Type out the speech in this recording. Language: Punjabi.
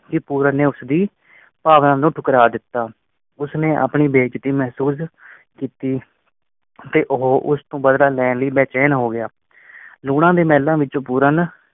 ਕੀ ਪੂਰਨ ਨੇ ਉਸਦੀ ਭਾਵਨਾ ਨੂੰ ਠੁਕਰਾ ਦਿੱਤਾ। ਉਸਨੇ ਆਪਣੀ ਬੇਇਜ਼ਤੀ ਮਹਿਸੂਸ ਕੀਤੀ ਅਤੇ ਉਹ ਉਸ ਤੋਂ ਬਦਲਾ ਲੈਣ ਲਈ ਬੈਚੈਨ ਹੋ ਗਿਆ। ਲੂਣਾ ਦੇ ਮੇਹਲੋਂ ਵਿੱਚੋ ਪੂਰਨ